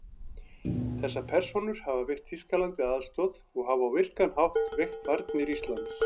Þessar persónur hafa veitt Þýskalandi aðstoð og hafa á virkan hátt veikt varnir Íslands.